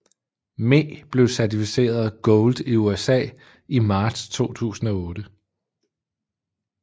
Me blev certificeret Gold i USA i marts 2008